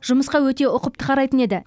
жұмысқа өте ұқыпты қарайтын еді